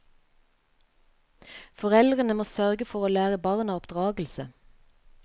Foreldrene må sørge for å lære barna oppdragelse.